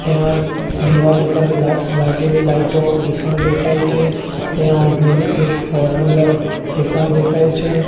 ત્યાં દીવાલ ઉપર લા લાગેલી લાઈટો એ પણ દેખાય છે ત્યાં ઉભેલી એક ફોરવિલર એ પણ દેખાય છે.